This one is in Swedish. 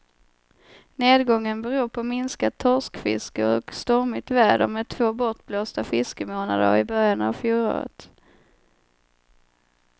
Nedgången beror på minskat torskfiske och stormigt väder med två bortblåsta fiskemånader i början av fjolåret.